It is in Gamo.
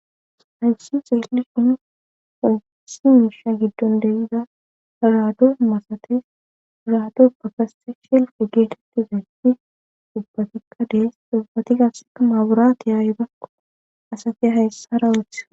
Hayussi seelli shinu hosi miisha giddon deyida raado masatis raado bakase sheelfe geetetti zaytti ubbatikka dees xubbati gasseka maaburaata yaayibakko asati hayssara woth..